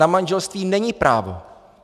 Na manželství není právo.